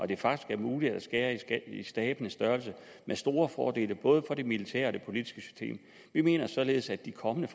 det faktisk er muligt at skære i stabenes størrelse med store fordele både for det militære og det politiske system vi mener således at de kommende